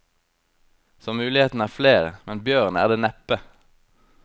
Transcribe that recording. Så mulighetene er flere, men bjørn er det neppe.